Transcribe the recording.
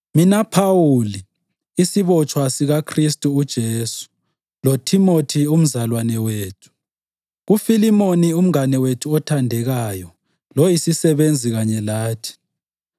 Mina Phawuli, isibotshwa sikaKhristu uJesu, loThimothi umzalwane wethu, KuFilimoni umngane wethu othandekayo loyisisebenzi kanye lathi,